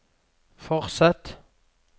fortsett